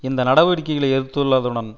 இந்த நடவடிக்கைகளை எதிர்த்துள்ளதுடன்